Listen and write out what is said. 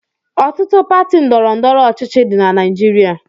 Ọtụtụ pati ndọrọndọrọ ọchịchị dị na Naịjirịa.